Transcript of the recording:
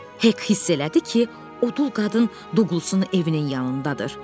Hek hiss elədi ki, odu qadın Duqlasının evinin yanındadır.